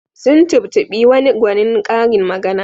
Sun tubtuɓi wani gwanin karin magana.